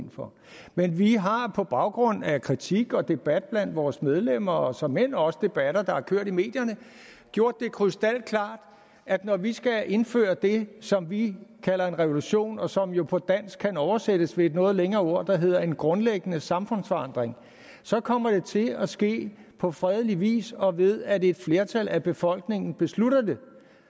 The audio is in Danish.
ind for men vi har på baggrund af kritik og debat blandt vores medlemmer og såmænd også debatter der har kørt i medierne gjort det krystalklart at når vi skal indføre det som vi kalder en revolution og som jo på dansk kan oversættes ved et noget længere ord der hedder en grundlæggende samfundsforandring så kommer det til at ske på fredelig vis og ved at et flertal af befolkningen beslutter det